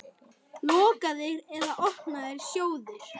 Lokaðir eða opnir sjóðir?